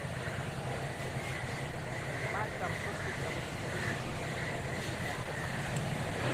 Mancham kosirto kotinyei kenyisiek 77